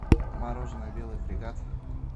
мороженое белый фрегат